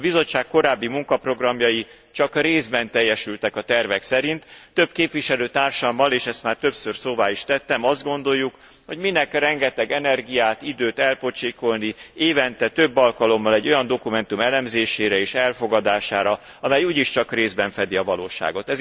A Bizottság korábbi munkaprogramjai csak részben teljesültek a tervek szerint, több képviselőtársammal és ezt már többször szóvá is tettem azt gondoljuk, hogy minek rengeteg energiát, időt elpocsékolni évente több alkalommal egy olyan dokumentum elemzésére és elfogadására, amely úgyis csak részben fedi a valóságot.